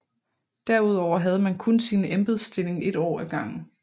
Derudover havde man kun sin embedsstilling et år af gangen